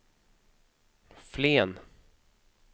Flen